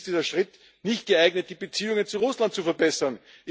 Letztlich ist dieser Schritt nicht geeignet, die Beziehungen zu Russland zu verbessern.